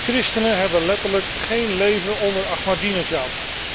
Christenen hebben letterlijk geen leven onder Ahmadinejad.